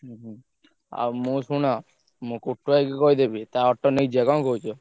ହୁଁ ହୁଁ ଆଉ ମୁଁ ଶୁଣ ମୁଁ କୁଟୁ ଭାଇ କି କହିଦେବି ତା auto ନେଇ ଯିବା କଣ କହୁଛ?